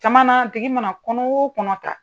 Caman na a tigi mana kɔnɔ o kɔnɔ ta.